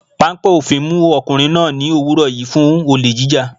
Páńpẹ́ òfin mú ọkùnrin náà ní òwúrọ̀ yìí fún olè jíjà.